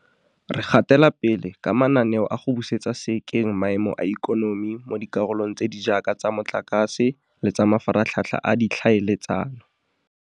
Re gatela pele ka mananeo a go busetsa sekeng maemo a ikonomi mo dikarolong tse di jaaka tsa motlakase le tsa mafaratlhatlha a ditlhaele tsano.